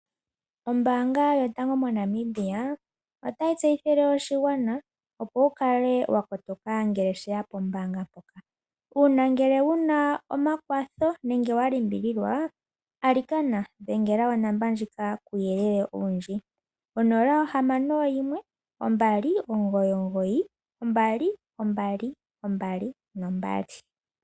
Ombaanga yotango moNamibia otayi tseyithile oshigwana opo shi kale wa kotoka ngele sheya pombaanga mpoka. Uuna wu na omakwatho nenge wa limbililwa, alikana dhengela onomola ndjika kuuyelele owundji, onola, ohamano, oyimwe, ombali, omugoyi, omugoyi, ombali, ombali, ombali nombali.